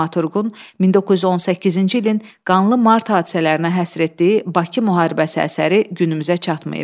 Dramaturqun 1918-ci ilin qanlı mart hadisələrinə həsr etdiyi Bakı müharibəsi əsəri günümüzə çatmayıb.